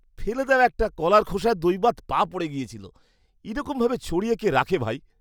ফেলে দেওয়া একটা কলার খোসায় দৈবাৎ পা পড়ে গেছিল। এরকমভাবে ছড়িয়ে কে রাখে ভাই?